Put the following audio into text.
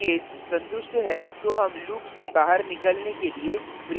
यदि case संतुष्ट है तो हम loop से बाहर निकलने के लिए break का उपयोग करते हैं